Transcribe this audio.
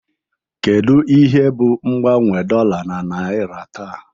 Kedu ihe bụ mgbanwe dollar na naira taa?